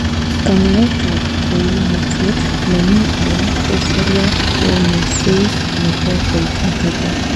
Kanyaetab koimutiet nemi alan ko seriat ko konyoiset nebo koitet netai.